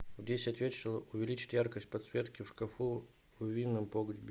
в десять вечера увеличь яркость подсветки в шкафу в винном погребе